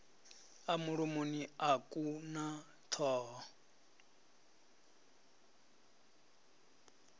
mulomoni a ku na thoho